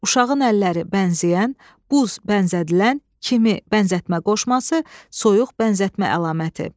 Uşağın əlləri bənzəyən, buz bənzədilən, kimi bənzətmə qoşması, soyuq bənzətmə əlaməti.